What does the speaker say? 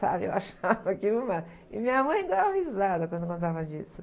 Sabe, eu achava aquilo o má... E minha mãe dava risada quando eu contava disso.